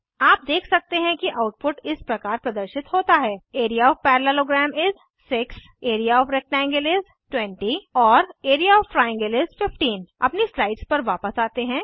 आप देख सकते हैं कि आउटपुट इस प्रकार प्रदर्शित होता है area of parallelogram is 6 area of rectangle is 20 और एआरईए ओएफ ट्रायंगल इस 15 अपनी स्लाइड्स पर वापस आते हैं